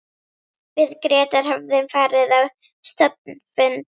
Við Grétar höfðum farið á stofnfund